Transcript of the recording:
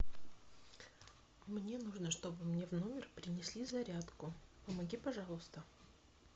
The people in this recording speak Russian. мне нужно чтобы мне в номер принесли зарядку помоги пожалуйста